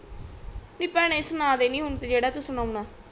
ਨੀ ਭੈਣੇ ਸੁਣਾ ਦੇ ਹੁਣ ਤਾ ਜੇੜਾ ਤੂੰ ਸੁਨਾਨਾ